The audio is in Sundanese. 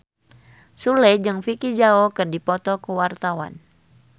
Sule jeung Vicki Zao keur dipoto ku wartawan